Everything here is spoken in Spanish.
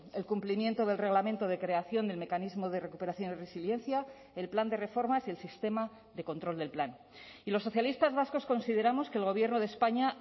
el cumplimiento del reglamento de creación del mecanismo de recuperación y resiliencia el plan de reformas y el sistema de control del plan y los socialistas vascos consideramos que el gobierno de españa